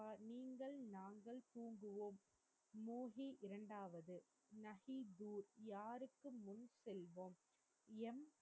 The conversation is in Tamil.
நீங்கள் நாங்கள் தூங்குவோம் மோஹி இரண்டாவது நஹி தூர் யாருக்கு முன் செல்வோம் எம்